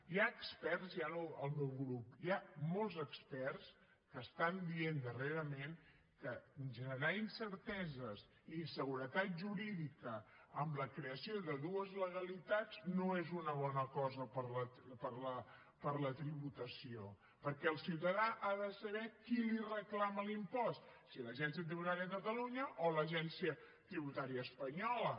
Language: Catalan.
hi ha experts ja no el meu grup hi ha molts experts que estan dient darrerament que generar incerteses i inseguretat jurídica amb la creació de dues legalitats no és una bona cosa per a la tributació perquè el ciutadà ha de saber qui li reclama l’impost si l’agència tributària de catalunya o l’agència tributària espanyola